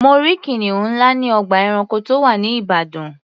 Mo rí kìnìún ńlá ní ọgbà ẹranko tó wà ní Ìbàdàn.